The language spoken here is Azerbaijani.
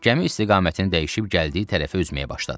Gəmi istiqamətini dəyişib gəldiyi tərəfə üzməyə başladı.